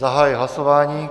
Zahajuji hlasování.